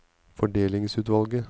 fordelingsutvalget